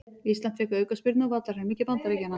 Ísland fékk aukaspyrnu á vallarhelmingi Bandaríkjanna